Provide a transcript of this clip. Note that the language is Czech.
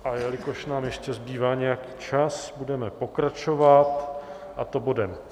A jelikož nám ještě zbývá nějaký čas, budeme pokračovat, a to bodem